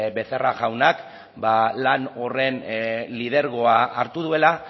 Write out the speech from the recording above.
becerra jaunak lan horren lidergoa hartu duela